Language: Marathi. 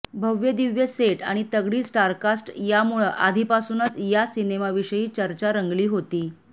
भव्यदिव्य सेट आणि तगडी स्टारकास्ट यामुळं आधीपासूनच या सिनेमाविषयी चर्चा रंगली होती